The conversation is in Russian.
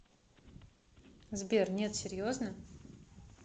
сбер нет серьезно